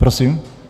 Prosím?